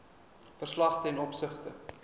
verslag ten opsigte